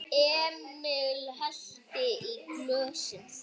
Emil hellti í glösin þeirra.